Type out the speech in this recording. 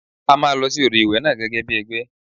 A máa lọ sí odò ìwẹ̀ náà gẹ́gẹ́ bí ẹgbẹ́.